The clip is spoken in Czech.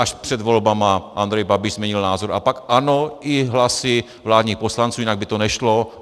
Až před volbami Andrej Babiš změnil názor, a pak ano, i hlasy vládních poslanců, jinak by to nešlo.